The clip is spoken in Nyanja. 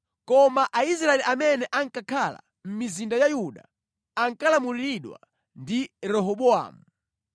Koma Aisraeli amene ankakhala mʼmizinda ya Yuda ankalamuliridwa ndi Rehobowamu.